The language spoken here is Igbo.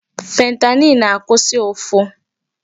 Fentanyl na-akwụsị ụfụ.